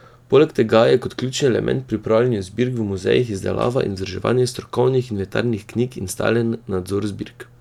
Poleg tega je kot ključni element pri upravljanju zbirk v muzejih izdelava in vzdrževanje strokovnih inventarnih knjig in stalen nadzor zbirk.